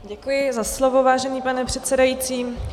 Děkuji za slovo, vážený pane předsedající.